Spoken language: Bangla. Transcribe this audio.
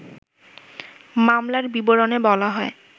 মামলার বিবরণে বলা হয়